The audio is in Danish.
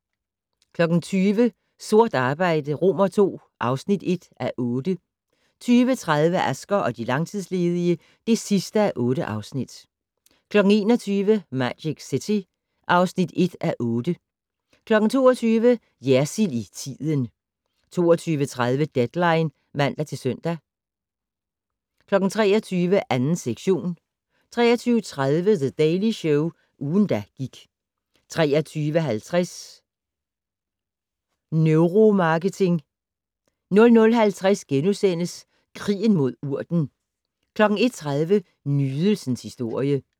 20:00: Sort arbejde II (1:8) 20:30: Asger og de langtidsledige (8:8) 21:00: Magic City (1:8) 22:00: Jersild i tiden 22:30: Deadline (man-søn) 23:00: 2. sektion 23:30: The Daily Show - ugen, der gik 23:50: Neuromarketing 00:50: Krigen mod urten * 01:30: Nydelsens historie